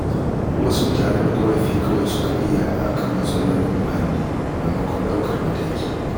Wasu mutanen ƙorafi kawai suka iya a kan matsalolin muhalli, maimakon ɗaukar mataki.